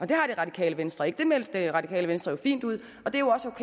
det radikale venstre ikke det meldte radikale venstre jo fint ud og det